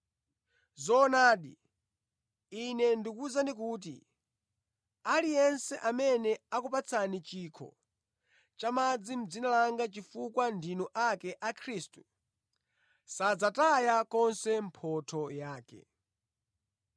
Zoonadi, Ine ndikuwuzani kuti aliyense amene akupatsani chikho cha madzi mʼdzina langa chifukwa ndinu ake a Khristu, sadzataya konse mphotho yake.”